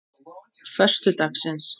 föstudagsins